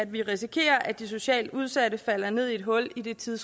vi risikerer at de socialt udsatte falder ned i et hul i den tid